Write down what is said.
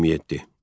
27.